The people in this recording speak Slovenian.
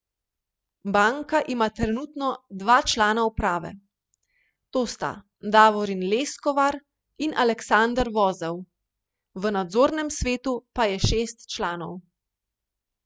Banka ima trenutno dva člana uprave, to sta Davorin Leskovar in Aleksander Vozel, v nadzornem svetu pa je šest članov.